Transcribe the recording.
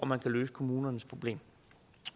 man kan løse kommunernes problem